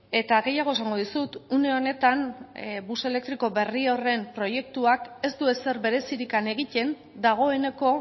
eta gehiago esango dizut une honetan bus elektriko beri horren proiektuak ez du ezer berezirik egiten dagoeneko